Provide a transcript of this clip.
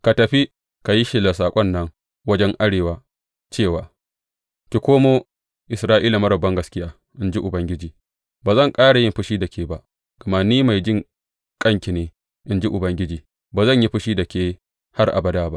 Ka tafi, ka yi shelar saƙon nan wajen arewa cewa, Ki komo, Isra’ila marar bangaskiya,’ in ji Ubangiji, Ba zan ƙara yin fushi da ke ba, gama ni mai jinƙai ne,’ in ji Ubangiji, Ba zan yi fushi da ke har abada ba.